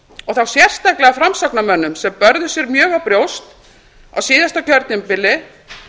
og þá sérstaklega framsóknarmönnum sem börðu sér mjög á brjóst á síðasta kjörtímabili